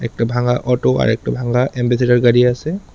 একটা ভাঙা অটো আর একটা ভাঙা এম্বাসেটর গাড়ি আসে।